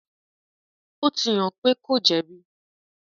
ó ti hàn pé kò jẹ̀bi.